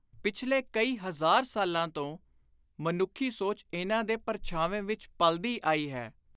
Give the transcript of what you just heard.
ਪਿਛਲੇ ਕਈ ਹਜ਼ਾਰ ਸਾਲਾਂ ਤੋਂ ਮਨੁੱਖੀ ਸੋਚ ਇਨ੍ਹਾਂ ਦੇ ਪਰਛਾਵੇਂ ਵਿਚ ਪਲਦੀ ਆਈ ਹੈ।